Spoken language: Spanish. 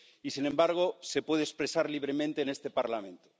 Y, sin embargo, se puede expresar libremente en este Parlamento.